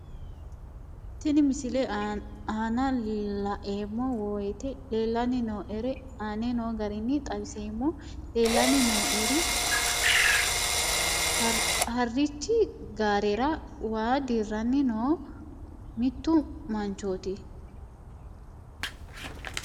Tenne misile aana laeemmo woyte leelanni noo'ere aane noo garinni xawiseemmo. Leelanni noo'erri harrichi gaarerra waa dirranni noo mittu manchooti